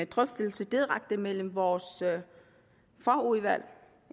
drøftelse direkte mellem vores fagudvalg